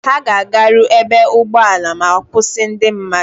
Ha ga-agaru ebe ụgbọala ma-akwụsị ndị mmadụ.